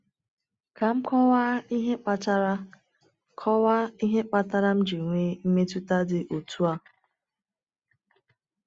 Kà m kọwaa ihe kpatara kọwaa ihe kpatara m ji nwee mmetụta dị otú a.